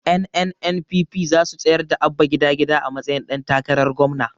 Ƴan NNPP zasu tsayar da Abba gida gida a matsayin ɗan takarar gwamna